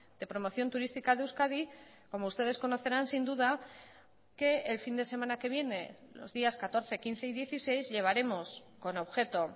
de promoción turística de euskadi como ustedes conocerán sin duda que el fin de semana que viene los días catorce quince y dieciséis llevaremos con objeto